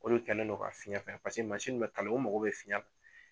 O le kɛlen no ka fiyɛn fɛn paseke mansinw bɛ kala o mago bɛ fiyɛn la